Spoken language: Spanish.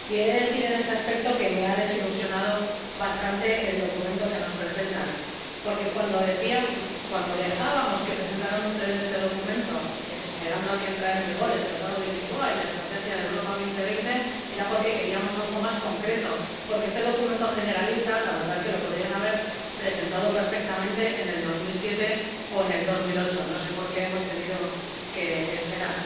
He de decir, en este aspecto, que me ha desilusionado bastante el documento que nos presentan, porque cuando dejamos que presentaran ustedes este documento esperando a que entraran en vigor el Tratado de Lisboa y la Estrategia Europa 2020, era porque queríamos algo más concreto, porque, la verdad este documento generalista lo podrían haber presentado perfectamente en 2007 o en 2008, no sé por qué hemos tenido que esperar.